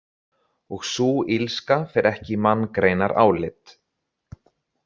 Og sú illska fer ekki í manngreinarálit.